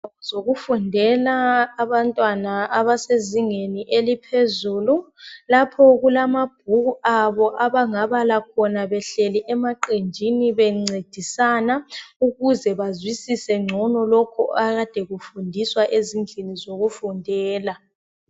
Zokufundela abantwana abasezingeni eliphezulu. Lapho kulamabhuku abo abangabala khona behleli emaqenjini bencedisana, ukuze bazwisise ngcono lokhu akade kufundiswa ezindlini zokufundela.